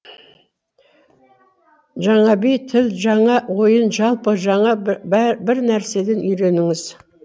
жаңа би тіл жаңа ойын жалпы жаңа бірнәреден үйреніңіз